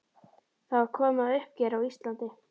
Það var komið að uppgjöri á Íslandi.